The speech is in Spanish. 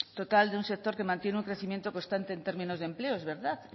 total de un sector que mantiene un crecimiento constante en términos de empleo es verdad